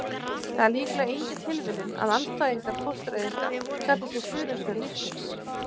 það er líklega engin tilviljun að andstæðingar fóstureyðinga kalli sig stuðningsmenn lífsins